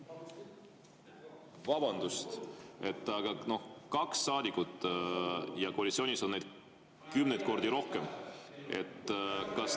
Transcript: Vabandust, kaks saadikut on, aga koalitsioonis on neid kümneid kordi rohkem.